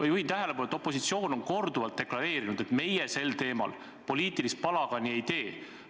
Ma juhin tähelepanu, et opositsioon on korduvalt deklareerinud, et meie selle teema puhul poliitilist palagani ei tee.